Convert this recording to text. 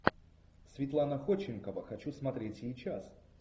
светлана ходченкова хочу смотреть сейчас